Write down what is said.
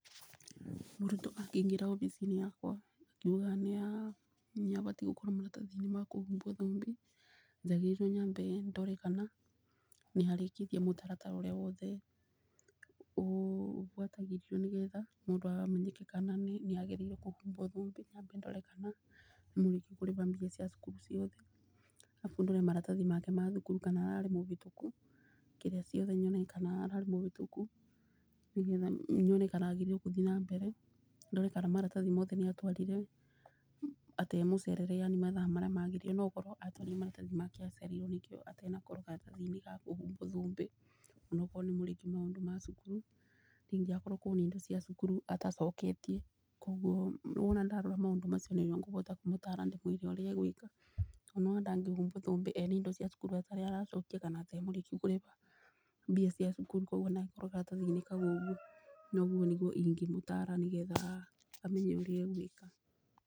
Mũrutwo angĩingĩra obici-inĩ yakwa akiugaga nĩ abatie gũkorwo maratathi ma kũhumbwo thũmbĩ. Njagĩrĩirwo nyambĩ ndore kana nĩ arĩkĩtie mũtaratara wothe ũbuatagĩrĩrwo nĩ getha mũndũ amenyeke kana nĩ agĩrĩire kũhumbwo thũmbĩ. Nyambe ndore kana nĩ mũrĩkiu kĩrĩba mbia cia thukuru ciothe arabu ndore maratathi make ma cukuru kana ararĩ mũbĩtũku kĩrĩa ciothe kana ararĩ mũbĩtũku nĩ getha nyone kana agĩrĩirwo kũthiĩ na mbere. Ndore kana maratathi mothe nĩ atwarire atarĩ mũcerere yani mathaa marĩa magĩrĩire, no korwo atwarire maratathi make acereirwi nĩkĩo atanakorwo karatathi-ini ga kũhumbwo thũmbĩ ona akorwo nĩmũrĩkiu maũndũ mothe ma cukuru. Ningĩ akorwo kwĩna indo cia cukuru atacokete , koguo wona ndarora maũndũ macio nĩguo ngũbota kumũtara ndĩmwire ũria egwĩka. Tondũ nĩ wona ndangĩhumbwo thũmbĩ ena indo cia cukuru atarĩ aracokia kana etaĩ mũrĩkiu kũrĩba mbia cia cukuru koguo ndangĩkorwo karatathi-inĩ kau ũguo. Na ũguo nĩguo ingĩ mũtara nĩ getha amenye ũrĩa egwĩka.